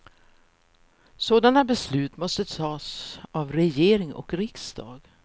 Sådana beslut måste tas av regering och riksdag.